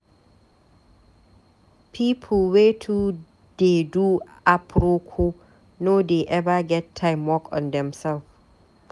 Pipu wey too dey do aproko no dey eva get time work on themsef.